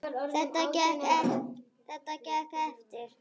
Þetta gekk eftir.